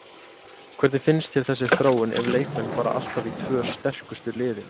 Hvernig finnst þér þessi þróun ef leikmenn fara alltaf í tvö sterkustu liðin?